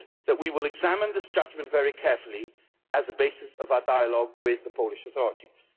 We will examine this judgment very carefully as a basis of our dialogue with the Polish authorities.